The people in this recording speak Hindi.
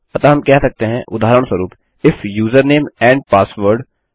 अतः हम कह सकते हैं उदाहरणस्वरूप इफ यूजरनेम एंड पासवर्ड